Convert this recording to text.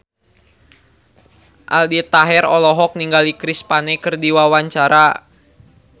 Aldi Taher olohok ningali Chris Pane keur diwawancara